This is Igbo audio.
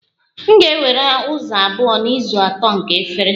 M ga-ewere ụzọ abụọ n'ụzọ atọ nke efere